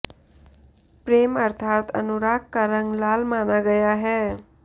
प्रेम अर्थात अनुराग का रंग लाल माना गया है